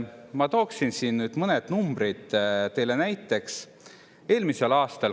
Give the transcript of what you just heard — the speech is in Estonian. Ma toon siin nüüd mõned numbrid teile näiteks.